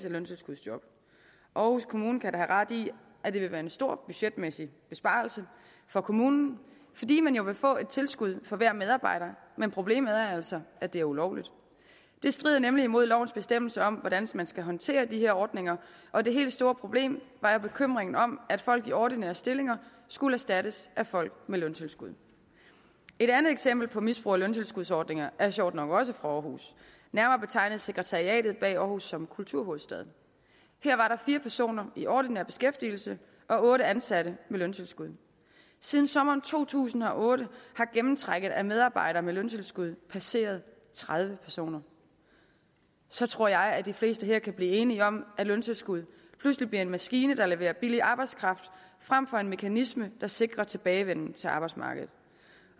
af løntilskudsjob aarhus kommune kan da have ret i at det vil være en stor budgetmæssig besparelse for kommunen fordi man jo vil få et tilskud for hver medarbejder men problemet er altså at det er ulovligt det strider nemlig mod lovens bestemmelser om hvordan man skal håndtere de her ordninger og det helt store problem var jo bekymringen om at folk i ordinære stillinger skulle erstattes af folk med løntilskud et andet eksempel på misbrug af løntilskudsordningerne er sjovt nok også fra aarhus nærmere betegnet sekretariatet bag aarhus som kulturhovedstad her var der fire personer i ordinær beskæftigelse og otte ansatte med løntilskud siden sommeren to tusind og otte har gennemtrækket af medarbejdere med løntilskud passeret tredive personer så tror jeg at de fleste her kan blive enige om at løntilskud pludselig bliver en maskine der leverer billig arbejdskraft frem for en mekanisme der sikrer tilbagevenden til arbejdsmarkedet